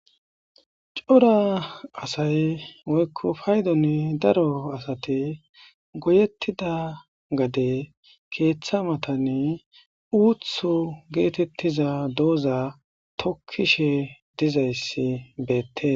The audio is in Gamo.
cora asay woykko paydonni daro asate goyettida gade keeththa matani uuthu geetettiza dooza tokkishe dizayssi beettes